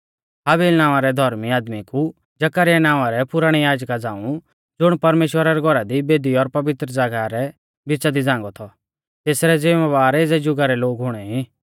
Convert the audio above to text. हाबिल नावां रै धौर्मी आदमी कु जकरयाह नावां रै पुराणै याजका झ़ांऊ ज़ुण परमेश्‍वरा रै घौरा दी बेदी और पवित्र ज़ागाह रै बिच़ा दी झ़ांगौ थौ तेथरै ज़िमबार एज़ै जुगा रै लोग हुणेई